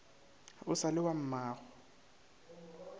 o sa le wa mmago